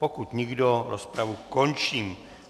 Pokud nikdo, rozpravu končím.